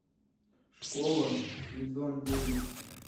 школа сезон девять